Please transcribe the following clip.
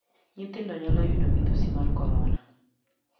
Nyithindo nyalo yudo midhusi mar korona.